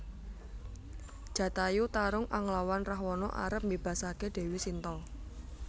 Jatayu tarung anglawan Rahwana arep mbébasaké Déwi Sinta